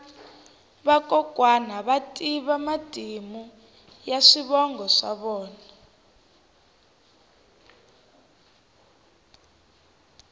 vakokwani va tiva matimu ya swivongo swa vona